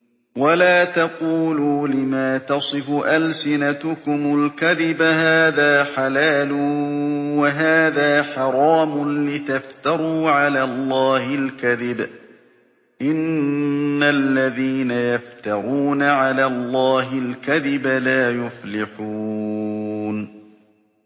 وَلَا تَقُولُوا لِمَا تَصِفُ أَلْسِنَتُكُمُ الْكَذِبَ هَٰذَا حَلَالٌ وَهَٰذَا حَرَامٌ لِّتَفْتَرُوا عَلَى اللَّهِ الْكَذِبَ ۚ إِنَّ الَّذِينَ يَفْتَرُونَ عَلَى اللَّهِ الْكَذِبَ لَا يُفْلِحُونَ